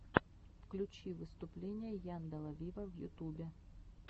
включи выступление янделя виво в ютубе